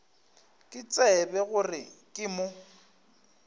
ke tsebe gore ke mo